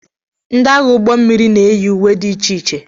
Ndị agha ụgbọ mmiri na-eyi uwe dị iche iche.